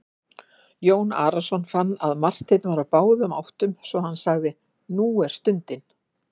Jón Arason fann að Marteinn var á báðum áttum svo hann sagði:-Nú er stundin!